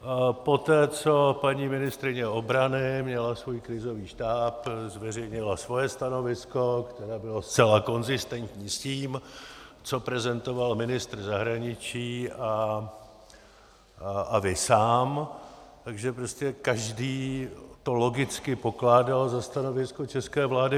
Poté co paní ministryně obrany měla svůj krizový štáb, zveřejnila svoje stanovisko, které bylo zcela konzistentní s tím, co prezentoval ministr zahraničí a vy sám, takže prostě každý to logicky pokládal za stanovisko české vlády.